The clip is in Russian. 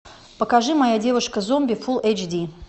покажи моя девушка зомби фул эйч ди